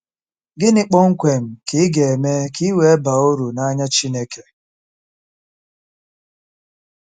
Gịnị kpọmkwem ka ị ga-eme ka i wee baa uru n’anya Chineke?